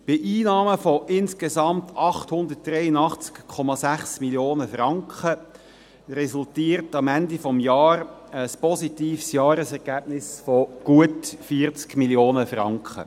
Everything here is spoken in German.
Bei Einnahmen von insgesamt 883,6 Mio. Franken resultiert am Ende des Jahres ein positives Jahresergebnis von gut 40 Mio. Franken.